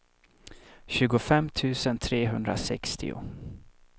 tjugofem tusen trehundrasextio